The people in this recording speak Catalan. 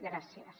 gràcies